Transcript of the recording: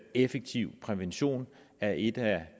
effektiv prævention er en af